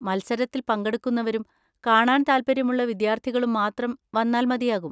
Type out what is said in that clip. മത്സരത്തിൽ പങ്കെടുക്കുന്നവരും കാണാൻ താൽപ്പര്യമുള്ള വിദ്യാർത്ഥികളും മാത്രം വന്നാൽ മതിയാകും.